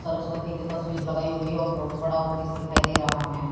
सरस्वती की तस्वीर लगाई हुई हैं और बहुत बड़ा ऑफिस दिखाई दे रहा है।